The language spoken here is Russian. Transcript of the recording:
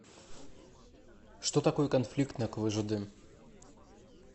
что такое конфликт на квжд